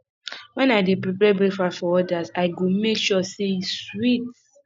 when i dey prepare breakfast for others i go make sure say e sweet